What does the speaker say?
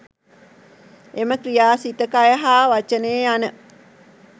එම ක්‍රියා සිත, කය හා වචනය යන